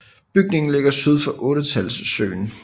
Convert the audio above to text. Bygningen ligger lige syd for Ottetalssøen